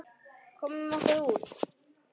Komum okkur út.